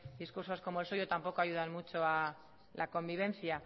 discursos como el suyo tampoco ayudan mucho a la convivencia